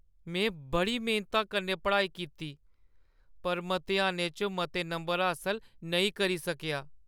में बड़ी मेह्‌नता कन्नै पढ़ाई कीती पर मतेहानें च मते नंबर हासल नेईं करी सकेआ।